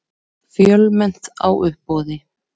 Fjölmennt á uppboði